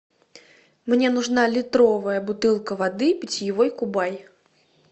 мне нужна литровая бутылка воды питьевой кубай